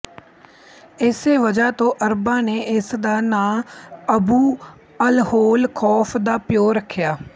ਇਸੇ ਵਜ੍ਹਾ ਤੋਂ ਅਰਬਾਂ ਨੇ ਇਸ ਦਾ ਨਾਂ ਅਬੂ ਅਲਹੋਲ ਖ਼ੌਫ਼ ਦਾ ਪਿਓ ਰੱਖਿਆ ਹੈ